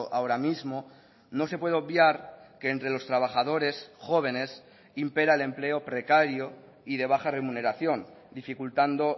ahora mismo no se puede obviar que entre los trabajadores jóvenes impera el empleo precario y de baja remuneración dificultando